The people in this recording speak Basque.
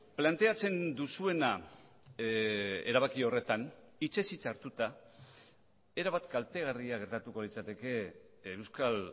planteatzen duzuena erabaki horretan hitzez hitz hartuta erabat kaltegarria gertatuko litzateke euskal